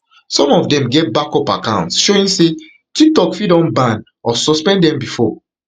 some of them get backup accounts showing say tiktok fit don ban or suspend dem bifor